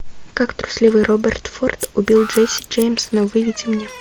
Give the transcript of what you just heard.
как трусливый роберт форд убил джесси джеймса выведи мне